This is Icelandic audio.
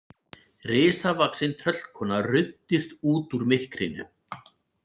Risavaxin tröllkona ruddist út úr myrkrinu.